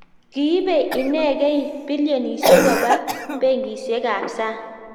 kiibei inegei bilionisiek koba benkisiekab sang